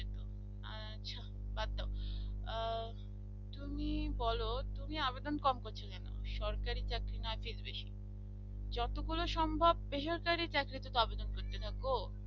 তুমিই বলো তুমি আবেদন কম করছো কেন সরকারি চাকরি না fees বেশি যতগুলো সম্ভব বেসরকারি চাকরিতে তো আবেদন করতে থাকো